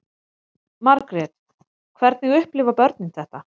Margrét: Hvernig upplifa börnin þetta?